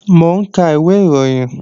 Mò ń ka ìwé ìròyìn